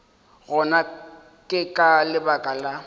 gona ke ka lebaka la